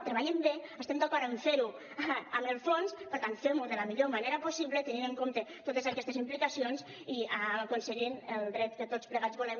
treballem bé estem d’acord en fer ho en el fons per tant fem ho de la millor manera possible tenint en compte totes aquestes implicacions i aconseguint el dret que tots plegats volem